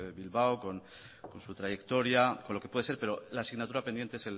bilbao con su trayectoria con lo que pueda ser pero la signatura pendiente